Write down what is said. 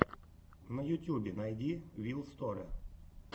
на ютубе найди вил сторе